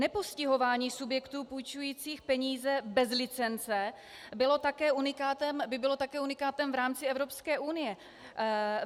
Nepostihování subjektů půjčujících peníze bez licence by bylo také unikátem v rámci Evropské unie.